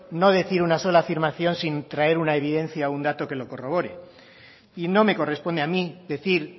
no decir una sola afirmación sin traer una evidencia o un dato que lo corroboré y no me corresponde a mí decir